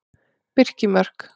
Birkimörk